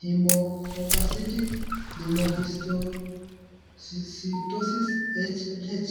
hemophagocytic lymphohistiocytosis (HLH).